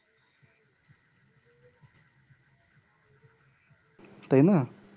তাই না